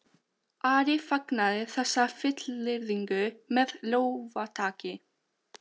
Ari fagnaði þessari fullyrðingu með lófataki.